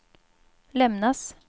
lämnas